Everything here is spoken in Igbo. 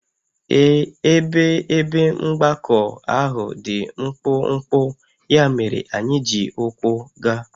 Ee, ebe ebe mgbakọ ahụ dị mkpụmkpụ, ya mere anyị ji ụkwụ gaa